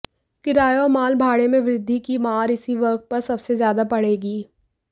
किराये और माल भाड़े में वृद्धि की मार इसी वर्ग पर सबसे ज्यादा पड़ेगी